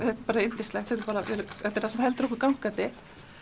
bara yndislegt þetta er það sem heldur okkur gangandi